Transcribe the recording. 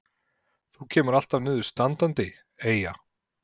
Þú kemur alltaf niður standandi, Eyja.